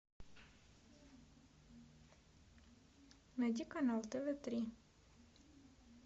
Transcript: найди канал тв три